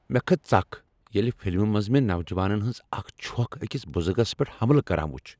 مےٚ کھژ ژکھ ییٚلہ فلمہ منز مےٚ نوجوانن ہنز اکھ چھوکھ اکس بزرگس پیٹھ حملہ کران وُچھ۔